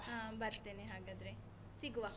ಹಾ, ಬರ್ತೇನೆ ಹಾಗಾದ್ರೆ, ಸಿಗುವ.